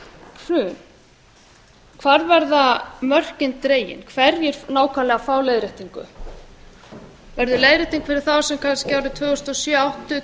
hrun hvar verða mörkin dregin hverjir nákvæmlega fá leiðréttingu verður leiðrétting fyrir þá sem kannski árið tvö þúsund og sjö áttu